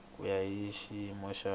ku ya hi xiyimo xa